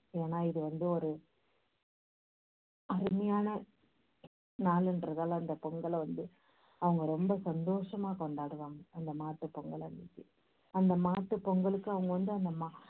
ஏன்னா இது வந்து ஒரு அந்த பொங்கலை வந்து அவங்க ரொம்ப சந்தோஷமா கொண்டாடுவாங்க அந்த மாட்டுப் பொங்கல் அன்னைக்கு அந்த மாட்டுப் பொங்கலுக்கு அவங்க வந்து அந்த மா~